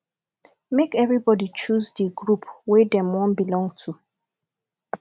make everybody choose di group wey dem won belong to